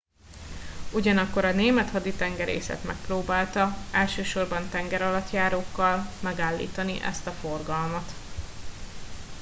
ugyanakkor a német haditengerészet megpróbálta elsősorban tengeralattjárókkal megállítani ezt a forgalmat